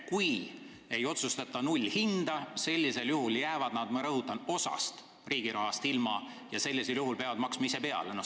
Kui nad ei otsusta nullhinna kasuks, siis jäävad nad, ma rõhutan, osast riigi rahast ilma ja peavad ise peale maksma.